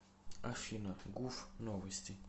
афина гуф новости